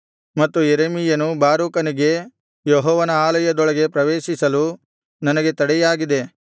ಮತ್ತು ಯೆರೆಮೀಯನು ಬಾರೂಕನಿಗೆ ಯೆಹೋವನ ಆಲಯದೊಳಗೆ ಪ್ರವೇಶಿಸಲು ನನಗೆ ತಡೆಯಾಗಿದೆ